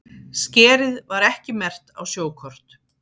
Skerið var ekki merkt á sjókort